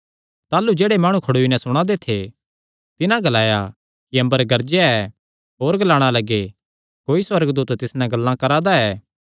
ताह़लू जेह्ड़े माणु खड़ोई नैं सुणा दे थे तिन्हां ग्लाया कि अम्बर गरजेया ऐ होर ग्लाणा लग्गे कोई सुअर्गदूत तिस नैं गल्लां करा दा ऐ